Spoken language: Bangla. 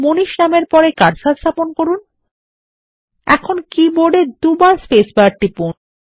Manishনামের পরে কার্সার স্থাপন করুন এখন কীবোর্ড এদুইবারspacebar টিপুন